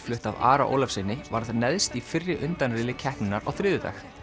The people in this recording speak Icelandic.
flutt af Ara Ólafssyni varð neðst í fyrri undanriðli keppninnar á þriðjudag